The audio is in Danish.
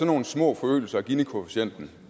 nogle små forøgelser af ginikoefficienten